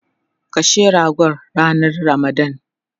Kashe ragon ranan ramadan